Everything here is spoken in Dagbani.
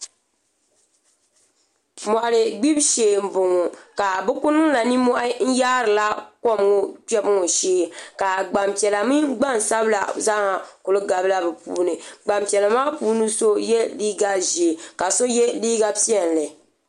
Moɣali gbibu shee n boŋo ka bi ku niŋla nimmohi n yaarila kom ŋo kpɛbu ŋo shee ka Gbanpiɛla mini Gbansabila zaaha ku gabila bi puuni Gbanpiɛla maa puuni so yɛ liiga ʒiɛ ka so yɛ liiga piɛlli